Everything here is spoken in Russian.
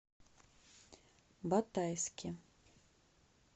батайске